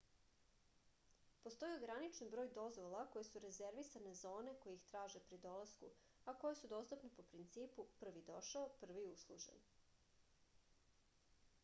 postoji ograničen broj dozvola koje su rezervisane za one koji ih traže pri dolasku a koje su dostupne po principu prvi došao prvi uslužen